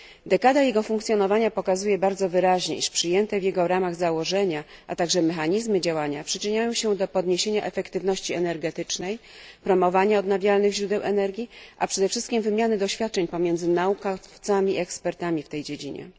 Dekada jego funkcjonowania pokazuje bardzo wyraźnie, iż przyjęte w jego ramach założenia, a także mechanizmy działania przyczyniają się do podniesienia efektywności energetycznej, promowania odnawialnych źródeł energii, a przede wszystkim wymiany doświadczeń pomiędzy naukowcami i ekspertami w tej dziedzinie.